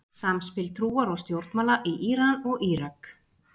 Samspil trúar og stjórnmála í Íran og Írak.